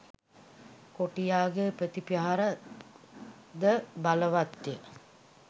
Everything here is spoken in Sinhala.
කොටියාගේ ප්‍රති ප්‍රහාරය ද බලවත්ය.